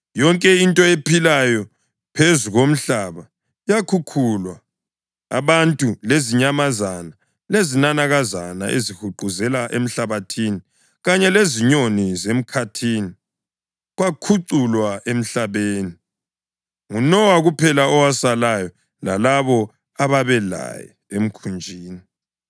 Yonke into ephilayo phezu komhlaba yakhukhulwa; abantu lezinyamazana lezinanakazana ezihuquzela emhlabathini kanye lezinyoni zemkhathini kwakhuculwa emhlabeni. NguNowa kuphela owasalayo, lalabo ababelaye emkhunjini.